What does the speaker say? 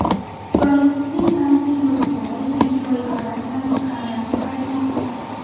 Bollivudning taniqli yulduzlari yangi loyihalar bilan ekranlarga qaytmoqda.